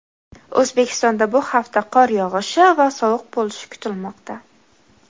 O‘zbekistonda bu hafta qor yog‘ishi va sovuq bo‘lishi kutilmoqda.